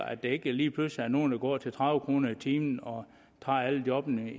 at der ikke lige pludselig er nogen der går til tredive kroner i timen og tager alle jobbene